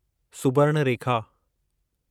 Subarnarekha